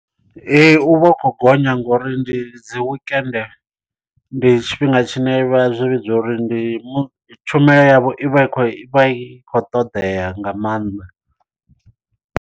Ee u vha u khou gonya ngori ndi dzi wekende ndi tshifhinga tshine vha zwi vhidza uri ndi tshumelo yavho i vha i khou i vha i khou ṱoḓea nga maanḓa.